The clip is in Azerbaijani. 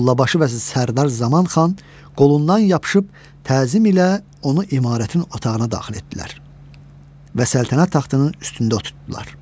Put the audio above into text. Mollabaşı və Sərdar Zaman xan qolundan yapışıb təzim ilə onu imarətin otağına daxil etdilər və səltənət taxtının üstündə oturdular.